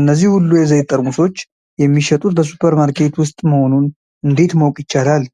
እነዚህ ሁሉ የዘይት ጠርሙሶች የሚሸጡት በሱፐርማርኬት ውስጥ መሆኑን እንዴት ማወቅ ይቻላል?